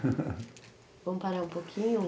Vamos parar um pouquinho?